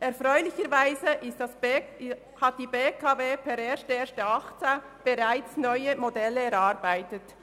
Erfreulicherweise hat die BKW per 1. Januar 2018 bereits neue Modelle erarbeitet.